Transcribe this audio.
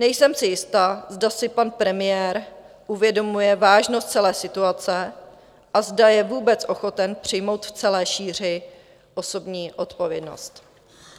Nejsem si jista, zda si pan premiér uvědomuje vážnost celé situace a zda je vůbec ochoten přijmout v celé šíři osobní odpovědnost.